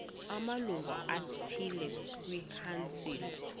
amalungu athile kwikhansile